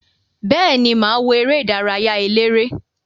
Beeni, maa wo ere idaraya elere.